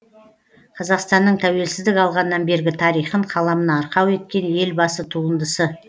қазақстанның тәуелсіздік алғаннан бергі тарихын қаламына арқау еткен елбасы туындысы